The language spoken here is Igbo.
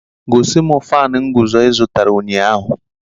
Gosi m fánu nguzo ị zụtara ụnyahụ!